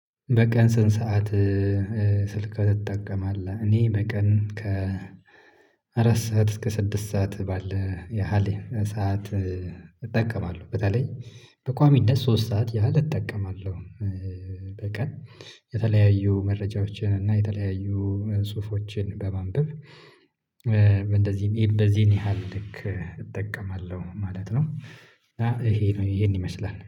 በቀን ስንት ሰዓት ስልክ ትጠቀማለ? እኔ በቀን ከ አራት ሰዓት እስከ ስድስት ሰዓት ባለ ያህል ሰዓት እጠቀማለሁ በተለይ በቋሚነት ሶስት ሰዓት ያህል እጠቀማለሁ፤ በቀን የተለያዩ መረጃዎችን እና የተለያዩ ጽሁፎችን በማንበብ እንደዚህም በዚህን ያህል ልክ እጠቀማለሁ ማለት ነው እና ይሄ ነው ይሄን ይመስላል